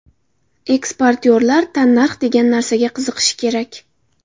Eksportyorlar tannarx degan narsaga qiziqishi kerak.